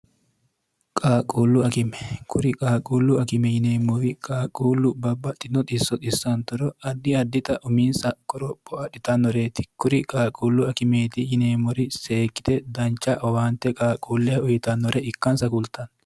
qaaquullu akime kuri qaaquullu akime yineemmori qaaquullu babba xino isso issaantoro addi adita umiinsa koropho adhitannoreeti kuri qaaquullu akimeeti yineemmori seekkite dancha owaante qaaquulleha uyitannore ikkansa kultanno